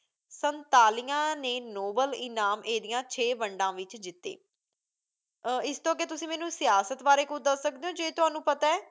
ਸਨਤਾਲੀਆਂ ਨੇ ਨੋਬਲ ਇਨਾਮ ਇਹਦੀਆਂ ਛੇ ਵੰਡਾਂ ਵਿੱਚ ਜਿੱਤੇ। ਅਹ ਇਸ ਤੋਂ ਅੱਗੇ ਤੁਸੀਂ ਮੈਨੂੰ ਸਿਆਸਤ ਬਾਰੇ ਕੁੱਝ ਦੱਸ ਸਕਦੇ ਹੋ ਜੇ ਤੁਹਾਨੂੰ ਪਤਾ ਹੈ।